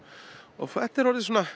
þetta er orðinn svona